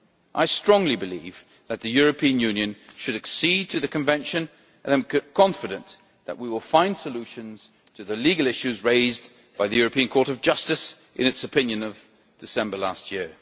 I strongly believe that the European Union should accede to the Convention, and I am confident that we will find solutions to the legal issues raised by the European Court of Justice in its opinion of December last year.